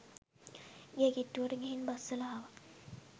ගේ කිට්ටුවට ගිහින් බස්සලා ආවා.